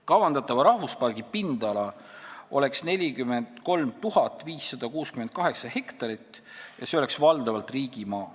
Kavandatava rahvuspargi pindala oleks 43 568 hektarit ja see oleks valdavalt riigimaa.